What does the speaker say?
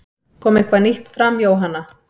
Kom eitthvað nýtt fram Jóhanna?